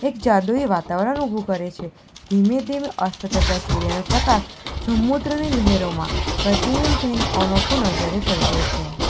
એક જાદુઈ વાતાવરણ ઊભુ કરે છે ધીમે-ધીમે અસ્ત તથા સૂર્યનો પ્રકાશ સમુદ્રની લહેરોમાં પ્રતિબિંબ થઈને અનોખો નજારે સર્જે છે.